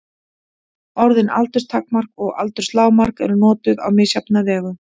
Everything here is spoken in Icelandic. Orðin aldurstakmark og aldurslágmark eru notuð á misjafna vegu.